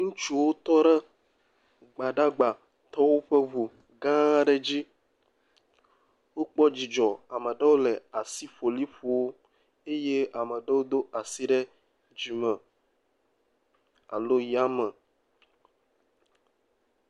Ŋutsuwo tɔ ɖe Gbadagbatɔwo ƒe ŋu gãã ɖe dzi. Wokpɔ dzidzɔ. Ame ɖewo le asikpoli ƒoo eye ame ɖewo do asi ɖe dzime alo yame.